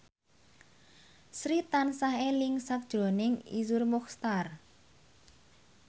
Sri tansah eling sakjroning Iszur Muchtar